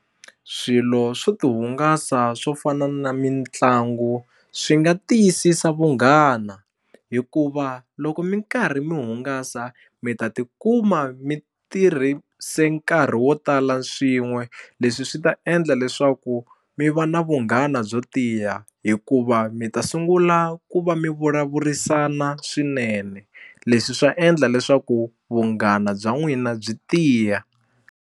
Swilo swo tihungasa swo fana na mitlangu swi nga tiyisisa vunghana hikuva loko mi karhi mi hungasa mi ta tikuma mi tirhise nkarhi wo tala swin'we leswi swi ta endla leswaku mi va na vunghana byo tiya hikuva mi ta sungula ku va mi vulavurisana swinene leswi swa endla leswaku vunghana bya n'wina byi tiya.